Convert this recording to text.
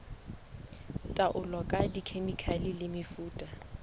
taolo ka dikhemikhale le mefuta